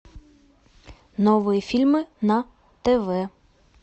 новые фильмы на тв